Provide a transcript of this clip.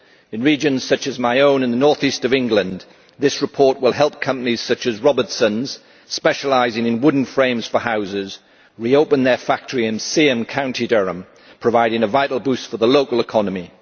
In regions such as my own in the north east of England, this report will help companies such as Robertson's, which specialises in wooden frames for houses, reopen their factory in County Durham, providing a vital boost for the local economy.